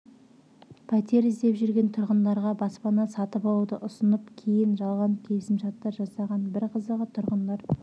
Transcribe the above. пәтер іздеп жүрген тұрғындарға баспана сатып алуды ұсынып кейін жалған келісімшарттар жасаған бір қызығы тұрғындар